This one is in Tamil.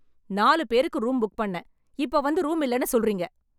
நாலு பேருக்கு ரூம் புக் பண்ணேன், இப்ப வந்து ரூம் இல்லன்னு சொல்றிங்க